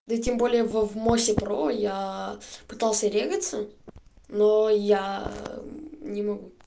да и тем более в в моссе про я пытался зарегистрироваться но я не могу